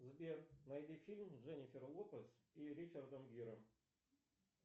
сбер найди фильм с дженифер лопес и ричардом гиром